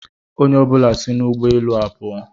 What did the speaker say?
Onye ọ bụla si n'ụgbọ elu a pụọ.